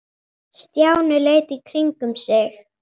Stjáni leit í kringum sig.